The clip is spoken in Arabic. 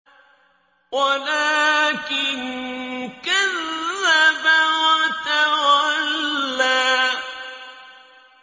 وَلَٰكِن كَذَّبَ وَتَوَلَّىٰ